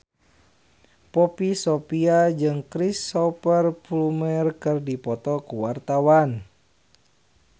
Poppy Sovia jeung Cristhoper Plumer keur dipoto ku wartawan